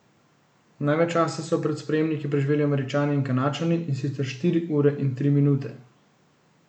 Največ časa so pred sprejemniki preživeli Američani in Kanadčani, in sicer štiri ure in tri minute.